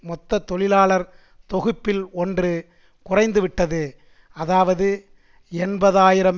மொத்த தொழிலாளர் தொகுப்பில் ஒன்று குறைந்துவிட்டது அதாவது எண்பது ஆயிரம்